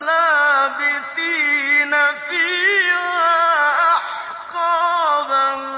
لَّابِثِينَ فِيهَا أَحْقَابًا